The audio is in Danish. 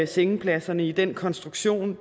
sengepladserne i den konstruktion